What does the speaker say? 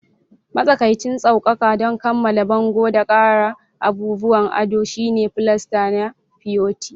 Matsakaicin sassauƙa don kammala bango da ƙara abubuwan ado shine filasta na fiyofi